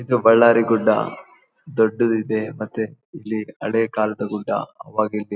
ಇದು ಬಳ್ಳಾರಿ ಗುಡ್ಡ ದೊಡ್ಡದ್ದು ಇದೆ ಮತ್ತೆ ಇಲ್ಲಿ ಅದೇ ಕಾಲದ ಗುಡ್ಡ ಅವಾಗ ಇಲ್ಲಿ. --